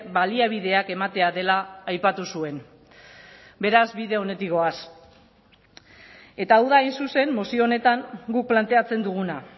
baliabideak ematea dela aipatu zuen beraz bide onetik goaz eta hau da hain zuzen mozio honetan guk planteatzen duguna